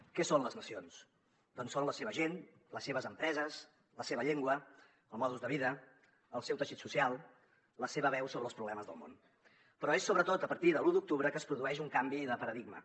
què són les nacions d’on són la seva gent les seves empreses la seva llengua el mode de vida el seu teixit social la seva veu sobre els problemes del món però és sobretot a partir de l’u d’octubre que es produeix un canvi de paradigma